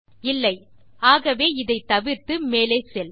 இல்லை ஆகவே இதை தவிர்த்து மேலே செல்